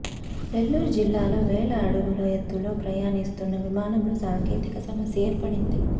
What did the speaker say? నెల్లూరు జిల్లాలో వేల అడుగుల ఎత్తులో ప్రమాణిస్తున్న విమానంలో సాంకేతిక సమస్య ఏర్పడింది